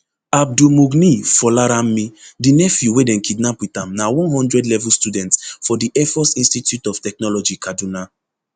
abdulmugniy folaranmi di nephew wey dem kidnap wit am na one hundred level student for di airforce institute of technology kaduna